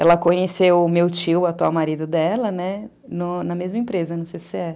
Ela conheceu o meu tio, o atual marido dela, né, na mesma empresa, no cê cê é.